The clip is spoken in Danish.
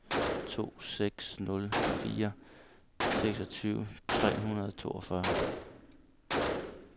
to seks nul fire seksogtyve tre hundrede og toogfyrre